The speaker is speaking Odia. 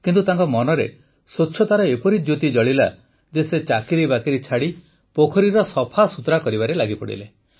କିନ୍ତୁ ତାଙ୍କ ମନରେ ସ୍ୱଚ୍ଛତାର ଏପରି ଜ୍ୟୋତି ଜଳିଲା ଯେ ସେ ଚାକିରିବାକିରି ଛାଡ଼ି ପୋଖରୀର ସଫାସୁତୁରାରେ ଲାଗିଗଲେ